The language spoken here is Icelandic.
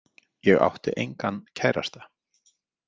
Ég átti engan kærasta.